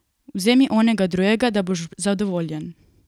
Vzemi onega drugega, da boš zadovoljen!